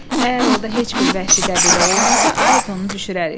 Əgər orada heç bir vəhşi qəbilə olmasa, Ayrtonu düşürərik.